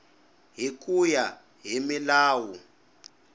hi ku ya hi milawu